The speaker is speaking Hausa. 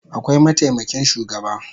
Akwai mataimakin shugaba